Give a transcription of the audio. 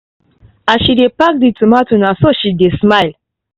as she pack the tomatoes na so she dey smile